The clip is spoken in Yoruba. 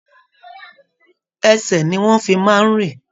Ẹsẹ ní wọn fí máa n rìn.